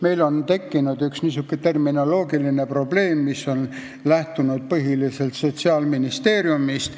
Meil on nimelt tekkinud üks niisugune terminoloogiline probleem, mis on lähtunud põhiliselt Sotsiaalministeeriumist.